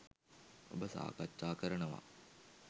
ඔබ සාකච්ජා කරනවා.